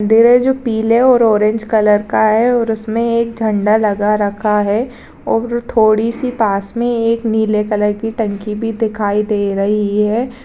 मंदिर है जो पीले और ऑरेंज कलर रंग का है और उसमे एक झंडा लगा रखा है और तोड़ी सी पास मे एक नीले कलर की टंकी भी दिखाई दे रही है।